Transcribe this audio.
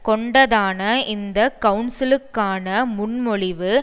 கொண்டதான இந்த கவுன்சிலுக்கான முன்மொழிவு